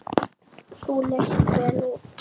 Þú leist vel út.